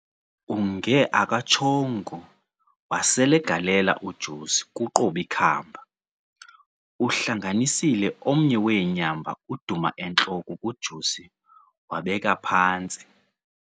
Unge akatshongo waselegalela uJosi ku"Qob'ikhamba", uhlanganisile omnye weenyamba uduma entloko kuJosi wabeka phantsi.